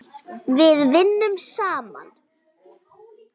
Við vinnum saman!